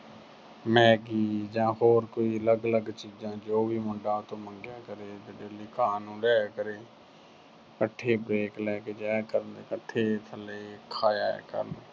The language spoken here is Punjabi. Maggi ਜਾਂ ਹੋਰ ਕੋਈ ਅਲਗ-ਅਲਗ ਚੀਜਾਂ, ਜੋ ਵੀ ਮੁੰਡਾ ਉਹਤੋਂ ਮੰਗਿਆ ਕਰੇ ਤੇ daily ਖਾਣ ਨੂੰ ਲਿਆਇਆ ਕਰੇ। ਇੱਕਠੇ break ਲੈ ਕੇ ਜਾਇਆ ਕਰਨ। ਇੱਕਠੇ ਥੱਲੇ ਖਾ ਆਇਆ ਕਰਨ।